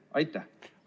Aitäh!